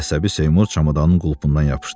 Əsəbi Seymur çamadanın qulpundan yapışdı.